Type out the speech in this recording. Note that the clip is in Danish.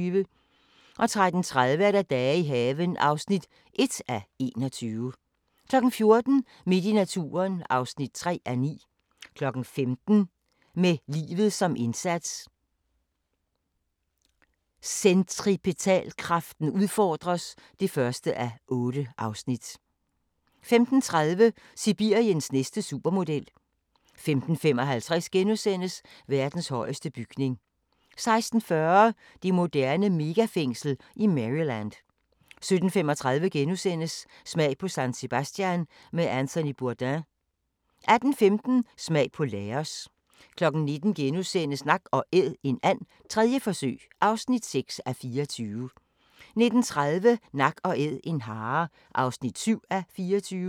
13:30: Dage i haven (1:21) 14:00: Midt i naturen (3:9) 15:00: Med livet som indsats – Centripetalkraften udfordres (1:8) 15:30: Sibiriens næste supermodel 15:55: Verdens højeste bygning * 16:40: Det moderne megafængsel i Maryland 17:35: Smag på San Sebastian med Anthony Bourdain * 18:15: Smag på Laos 19:00: Nak & Æd – en and, 3. forsøg (6:24)* 19:30: Nak & Æd – en hare (7:24)